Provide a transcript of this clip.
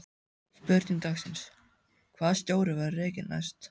Spurning dagsins: Hvaða stjóri verður rekinn næst?